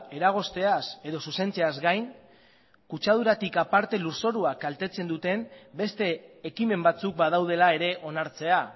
eragozteaz edo zuzentzeaz gain kutsaduratik aparte lurzorua kaltetzen duten beste ekimen batzuk badaudela ere onartzea